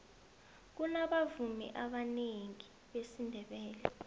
kunabavumi abanengi besindebele